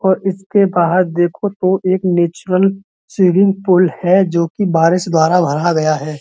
और इसके बाहर देखो तो एक नेचुरल स्विमिंग पुल है जोकि बारिश द्वारा भरा गया है।